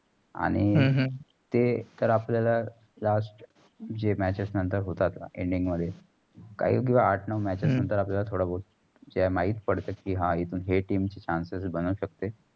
आणि आह ते तर आपल्याला last जे matches नंतर होतात. ending मध्ये काहीही आठ नऊ matches हम्म थोडा बौत जो माहित पडते कि हा इथून हे team chances बनु शकतेय.